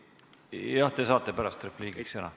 Jah, te saate pärast repliigiks sõna.